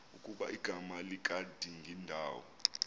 ukuba igama likadingindawo